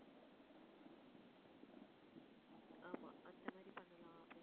ஆமா, அந்த மாதிரி பண்ணலாம் அப்படின்னு சொல்லி